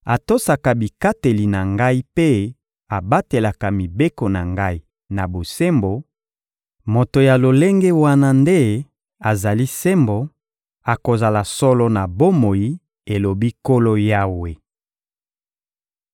atosaka bikateli na Ngai mpe abatelaka mibeko na Ngai na bosembo: moto ya lolenge wana nde azali sembo; akozala solo na bomoi, elobi Nkolo Yawe.